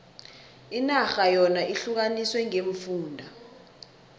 inarha yona ihlukaniswe ngeemfunda